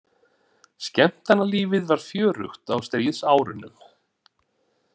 Skemmtanalífið var fjörugt á stríðsárunum.